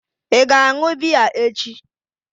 Ị ga-aṅụ biya echi?